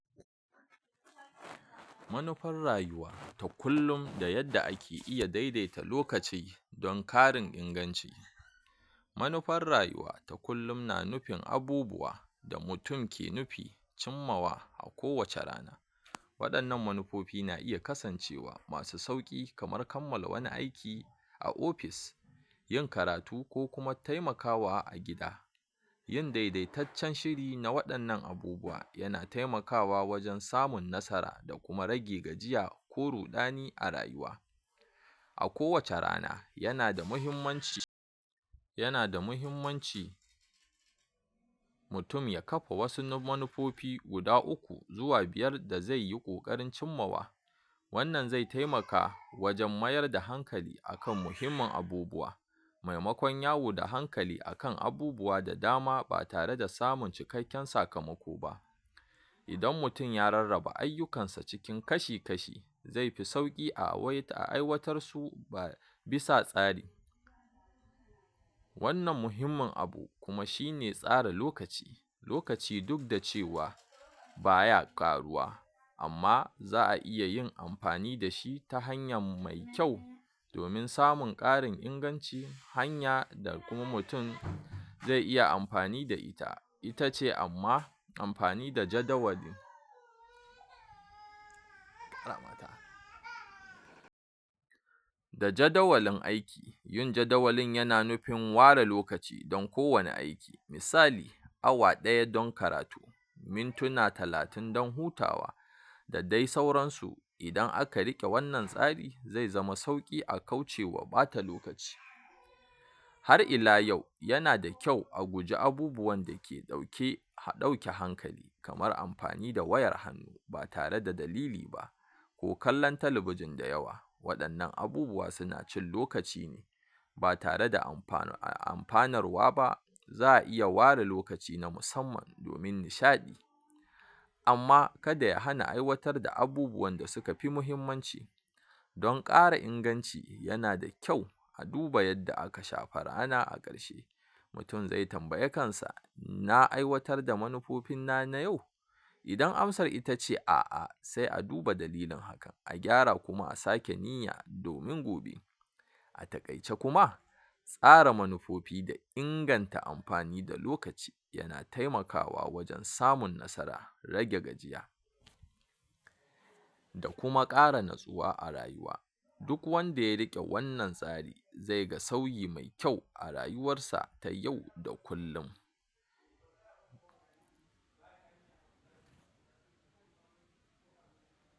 Manufar rayuwa ta kullum da yadda ake iya daidaita lokaci don karin inganci, manufar rayuwa ta kullum na nufin abubuwa da mutum ke nufi cimmawa a kowace rana, waɗannan manufofi na iya kasancewa masu sauƙi kamar kammala wani aiki a ofis, yin karatu ko kuma taimakawa a gida, yin daidaitaccen shirin na waɗannan abubuwa yana taimakawa wajen samun nasara da kuma rage gajiya ko ruɗani a rayuwa, a kowace rana yana da mahimmanci yana da mahimmanci mutum ya kafa wasu manufofi guda uku zuwa biyar da zeyi ƙoƙarin cimmawa, wannan zai taimaka wajen mayar da hankali akan muhimmin abubuwa, maimakon yawo da hankali akan abubuwa da dama ba tare da samun cikakken sakamako ba, idan mutum ya rarraba ayyukansa cikin kashi-kashi zaifi sauƙi a waita a aiwatarsu ba bisa tsari, wannan muhimmin abu kuma shine tsara lokaci, lokaci duk da cewa baya ƙaruwa amma za'a iya yin amfani da shi ta hanyam mai kyau, domin samun ƙarin inganci hanya da kuma mutun ze iya amfani da ita ita ce amma amfani da jadawali, da jadawalin aiki yin jadawalin yana nufin ware lokaci dan kowane aiki, misali: Awa ɗaya don karatu, mintuna talatin dan hutawa, da dai sauransu, idan aka riƙe wannan tsari ze zama sauƙi a kaucewa ɓata lokaci, har ila yau yana da kyau a guji abubuwan da ɗauke ɗauke hankali, kamar amfani da wayar hannu ba tare da dalili ba, ko kallan talabijin da yawa, waɗannan abubuwa suna cin lokaci ne ba tare da amfana a amfanarwa ba, za'a iya ware lokaci na musamman domin nishaɗi, amma kada ya hana aiwatar da abubuwanda suka fi mahimmanci, don ƙara inganci yana da kyau a duba yadda aka shafa rana a ƙarshe, mutum ze tambayi kansa na aiwatar da manufofinna na yau? idan amsar ita ce a'a, se a duba dalilin haka a gyara kuma a sake niyya domin gobe, a taƙaice kuma tsara manufofi da inganta amfani da lokaci yana taimakawa wajen samun nasara, rage gajiya da kuma ƙara natsuwa a rayuwa, duk wanda ya riƙe wannan tsari zai ga sauyi mai kyau a rayuwarsa ta yau da kullum.